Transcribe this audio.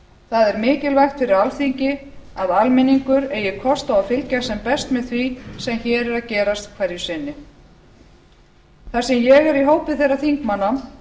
það er mikilvægt fyrir alþingi að almenningur eigi kost á að fylgjast en best með því sem hér er að gerast hverju sinni þar sem ég er í hópi þeirra þingmanna